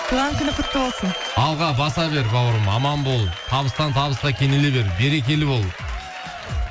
туған күнің құтты болсын алға баса бер бауырым аман бол табыстан табысқа кенеле бер берекелі бол